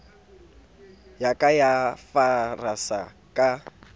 ya ka ya farasa ka